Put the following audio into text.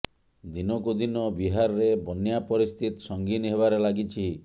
ଦିନକୁ ଦିନକ ବିହାରରେ ବନ୍ୟା ପରିସ୍ଥିତି ସଂଗୀନ ହେବାରେ ଲାଗିଛି